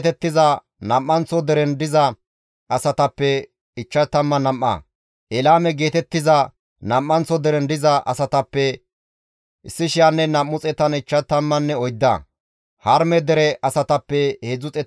Di7eteththafe simmida qeeseta zereththati hayssafe kaalli dizayta; Iyaaso zereth gidida Yaddaya zereththafe 973,